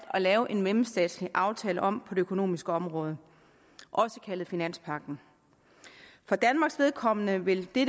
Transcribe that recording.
at lave en mellemstatslig aftale om på økonomiske område også kaldet finanspagten for danmarks vedkommende vil det